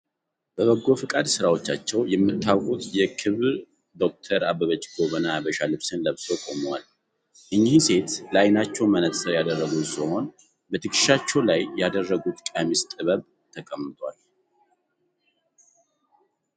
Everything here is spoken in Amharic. በበጎ ፍቃድ ስራዎቻቸው የሚታወቁት የክብር ዶክተር አበበች ጎበና የሃበሻ ልብስን ለብሰው ቆመዋል። እኚህ ሴት ለአይናቸው መነጸር ያደረጉ ሲሆን በትከሻቸው ላይም ያደረጉት ቀሚስ ጥበብ ተቀምጧል።